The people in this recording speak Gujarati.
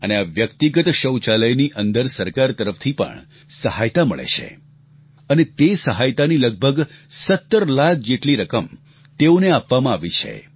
અને આ વ્યક્તિગત શૌચાલયની અંદર સરકાર તરફથી પણ સહાયતા મળે છે અને તે સહાયતાની લગભગ 17 લાખ જેટલી રકમ તેઓને આપવામાં આવી છે